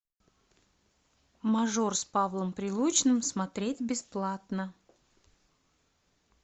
мажор с павлом прилучным смотреть бесплатно